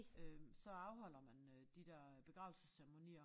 Øh så afholder man øh de der øh begravelsesceremonier